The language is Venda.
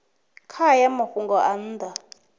kha hayo mafhungo nga nnḓa